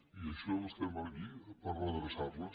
i per això estem aquí per redreçar les